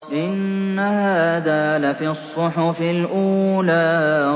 إِنَّ هَٰذَا لَفِي الصُّحُفِ الْأُولَىٰ